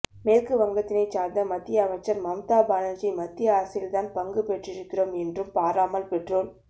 மேற்கு வங்கத்தினைச்சார்ந்த மத்திய அமைச்சர் மம்தா பானர்ஜி மத்திய அரசில் தான் பங்கு பெற்றிருக்கிறோம் என்றும் பாராமல் பெட்ரோல்